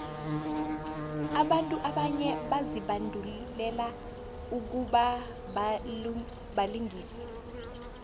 abantu abanye bazibandulele ukubabalingisi